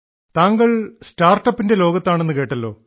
താങ്കൾ സ്റ്റാർട്ടപ്പിന്റെ ലോകത്താണെന്ന് കേട്ടല്ലോ